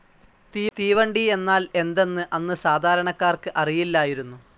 തീവണ്ടി എന്നാൽ എന്തെന്ന് അന്ന് സാധാരണക്കാർക്ക് അറിയില്ലായിരുന്നു.